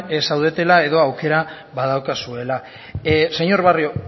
zaudela edo aukera badaukazuela señor barrio